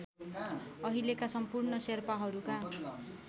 अहिलेका सम्पूर्ण शेर्पाहरूका